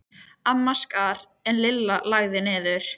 Amma skar en Lilla lagði niður.